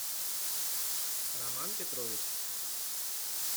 роман петрович